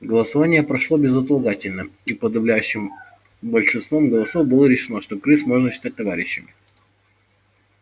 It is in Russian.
голосование прошло безотлагательно и подавляющим большинством голосов было решено что крыс можно считать товарищами